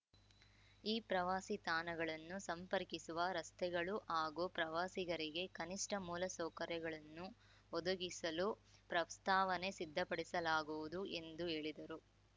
ಈ ಪ್ರವಾಸಿ ತಾಣಗಳನ್ನು ಸಂಪರ್ಕಿಸುವ ರಸ್ತೆಗಳು ಹಾಗೂ ಪ್ರವಾಸಿಗರಿಗೆ ಕನಿಷ್ಠ ಮೂಲಸೌಕರ್ಯಗಳನ್ನು ಒದಗಿಸಲು ಪ್ರಸ್ತಾವನೆ ಸಿದ್ಧಪಡಿಸಲಾಗುವುದು ಎಂದು ಹೇಳಿದರು